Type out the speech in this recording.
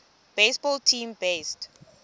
baseball team based